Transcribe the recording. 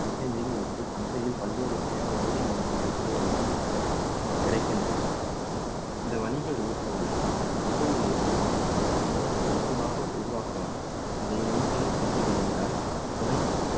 வகை மீன்களுக்கு சந்தையில் பல்வேறு வகையான வணிக மீன்கள் தீவனங்கள் கிடைக்கின்றன இந்த வணிக ஊட்டங்களை சந்தையில் இருந்து வாங்கலாம் அல்லது சொந்தமாக உருவாக்கலாம் அதை நீங்களே செய்ய விரும்பினால் துணை